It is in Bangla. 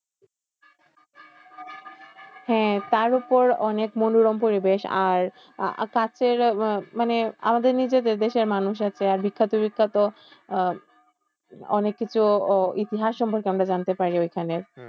হ্যাঁ তারউপর অনেক মনোরম পরিবেশ আর তারথেকে মানে আমাদের নিজেদের দেশের মানুষের একটা বিখ্যাত বিখ্যাত আহ অনেককিছু ইতিহাস সম্পর্কে আমরা জানতে পারি ওখানে।